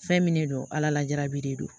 Fɛn min de don ala lajarabi de don